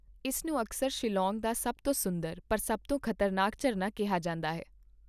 ਇਸ ਨੂੰ ਅਕਸਰ ਸ਼ਿਲੌਂਗ ਦਾ ਸਭ ਤੋਂ ਸੁੰਦਰ ਪਰ ਸਭ ਤੋਂ ਖਤਰਨਾਕ ਝਰਨਾ ਕਿਹਾ ਜਾਂਦਾ ਹੈ।